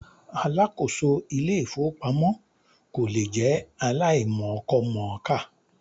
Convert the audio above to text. Alákòóso Ilé-ìfowópamọ́ kò lè jẹ́ aláìmọkọmọ̀ọ́kà.